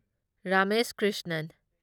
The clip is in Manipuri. ꯔꯃꯦꯁ ꯀ꯭ꯔꯤꯁꯅꯟ